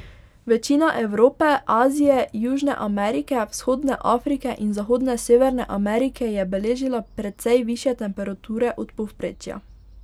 Večina Evrope, Azije, Južne Amerike, vzhodne Afrike in zahodne Severne Amerike je beležila precej višje temperature od povprečja.